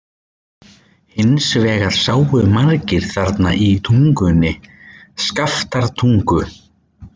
Hins vegar sáu margir þarna í Tungunni, Skaftártungu.